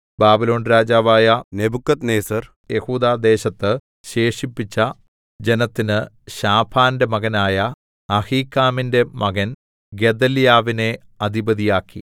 Babylon രാജാവായ നെബൂഖദ്നേസർ യെഹൂദാദേശത്ത് ശേഷിപ്പിച്ച ജനത്തിന് ശാഫാന്റെ മകനായ അഹീക്കാമിന്റെ മകൻ ഗെദല്യാവിനെ അധിപതിയാക്കി